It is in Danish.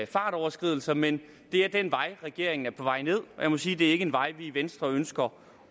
fartoverskridelser men det er den vej regeringen er på vej nedad og jeg må sige at det er ikke en vej vi i venstre ønsker